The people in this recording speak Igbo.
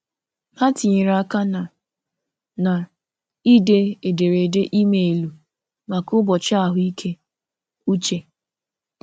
Ha tinyere aka na na - ide ederede emailu maka ụbọchị ahụ ike uche.